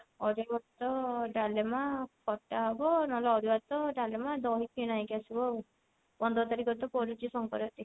ଅରୁଆ ଭାତ ଡାଲେମା ଖଟା ହବ ନହେଲେ ଅରୁଆ ଭାତ ଡାଲେମା ଦହି କିଣା ହେଇକି ଆସିବ ଆଉ ପନ୍ଦର ତାରିଖ ତ ପଡୁଛି ସଙ୍କ୍ରାନ୍ତି